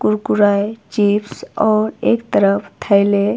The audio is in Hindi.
कुरकुरे चिप्स और एक तरफ थैले--